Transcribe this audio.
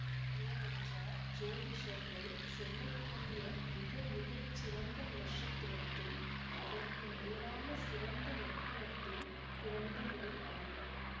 ஏனென்றால் ஜோதிஷர்கள் சொல்லக்கூடிய மிக மிக சிறந்த நக்ஷத்திரத்தில் அதற்கு மேலான சிறந்த லக்கினத்தில் பிறந்த முயல் அது